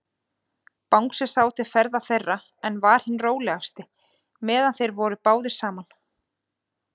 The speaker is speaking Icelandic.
Bangsi sá til ferða þeirra, en var hinn rólegasti, meðan þeir voru báðir saman.